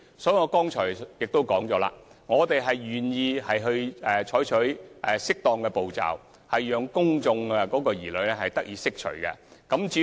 正如我剛才所說，我們願意採取適當步驟，讓公眾的疑慮得以釋除。